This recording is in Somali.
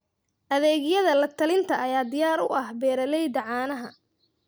Adeegyada la-talinta ayaa diyaar u ah beeralayda caanaha.